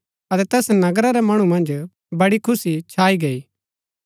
अतै तैस नगरा रै मणु मन्ज बड़ी खुशी छाई गई